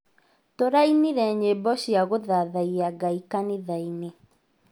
Tũrainire nyĩmbo cia kũthathaia Ngai kanithainĩ